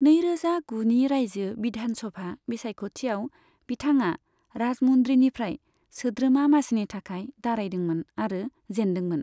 नैरोजा गुनि रायजो बिधान सभा बिसायखथिआव बिथाङा राजमुन्द्रीनिफ्राय सोद्रोमा मासिनि थाखाय दारायदोंमोन आरो जेनदोंमोन।